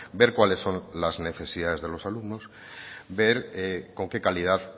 ver cuáles son las necesidades de los alumnos ver con qué calidad